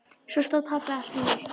Svo stóð pabbi allt í einu upp.